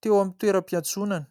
teo amin'ny toeram-piantsonana.